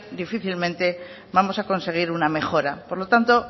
difícilmente vamos a conseguir una mejora por lo tanto